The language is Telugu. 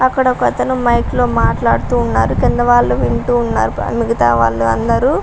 అక్కడ ఒకతను మైక్లో మాట్లాడుతున్నారు కిందవాళ్ళు వింటూఉన్నారు. మిగితా వాళ్ళందరు --